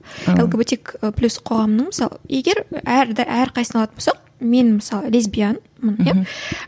лгбтик плюс қоғамының мысалы егер әр әрқайсысын алатын болсақ мен мысалы лесбиянмын иә